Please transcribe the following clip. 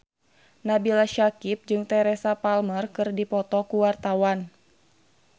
Nabila Syakieb jeung Teresa Palmer keur dipoto ku wartawan